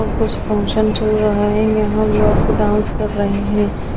यहाँ कुछ फंक्शन चल रहा है यहाँ लोग डांस कर रहे हे।